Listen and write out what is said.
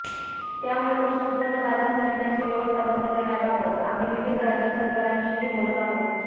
त्यामुळे कृषी उत्पन्न बाजार समित्यांची व्यवस्था बंद करण्याबाबत आम्ही विविध राज्य सरकारांशीही बोलत आहोत